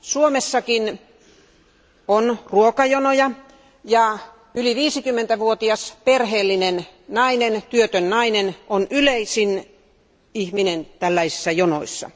Suomessakin on ruokajonoja, ja yli 50 vuotias perheellinen, työtön nainen, on yleisin ihminen tällaisissa jonoissa.